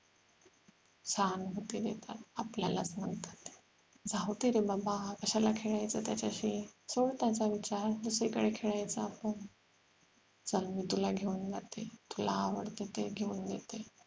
सहानुभूती देतात आपल्याला सांगतात जाऊ दे रे बाबा कशाला खेळायचं त्याच्याशी सोड त्याचा विचार दुसरीकडे खेळायचं आपण चलं मी तुला घेऊन जाते तुला आवडत ते घेऊन देते